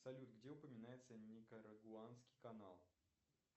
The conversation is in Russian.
салют где упоминается никарагуанский канал